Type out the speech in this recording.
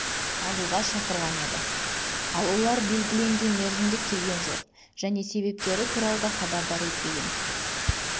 алуға шақырған еді ал олар белгіленген мерзімде келген жоқ және себептері туралы да хабардар етпеген